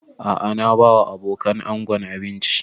A'a na ba wa abokanan ango abinci